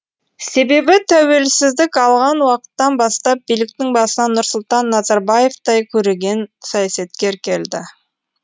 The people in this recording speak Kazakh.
себебі тәуелсіздік алған уақыттан бастап биліктің басына нұрсұлтан назарбаевтай көреген саясаткер келді